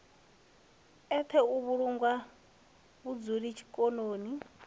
eṱhe u vhulawanga vhuludu zwikoloni